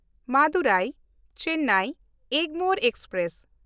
ᱢᱟᱫᱩᱨᱟᱭ–ᱪᱮᱱᱱᱟᱭ Egmore express